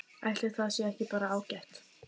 Ætli það sé ekki bara ágætt?